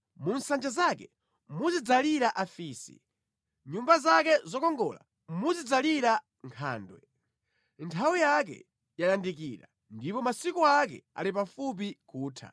Mu nsanja zake muzidzalira afisi, mʼnyumba zake zokongola muzidzalira nkhandwe. Nthawi yake yayandikira ndipo masiku ake ali pafupi kutha.